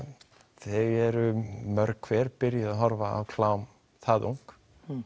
þau eru mörg hver byrjuð að horfa á klám það ung